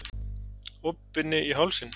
Opinni í hálsinn.